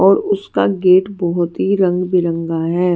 और उसका गेट बहोत ही रंग बिरंगा है।